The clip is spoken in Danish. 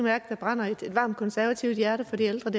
at der brænder et varmt konservativt hjerte for de ældre